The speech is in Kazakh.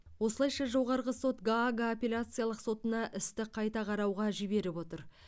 осылайша жоғарғы сот гаага апелляциялық сотына істі қайта қарауға жіберіп отыр